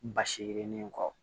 Basi yirinin kɔ